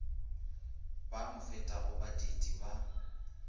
ba mo fetago baditi ba